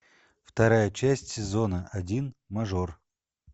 вторая часть сезона один мажор